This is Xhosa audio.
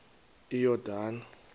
iyordane